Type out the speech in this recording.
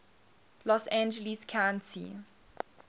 los angeles county